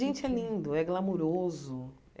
Gente, é lindo, é glamouroso.